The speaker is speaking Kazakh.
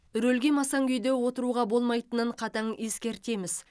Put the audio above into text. рөлге масаң күйде отыруға болмайтынын қатаң ескертеміз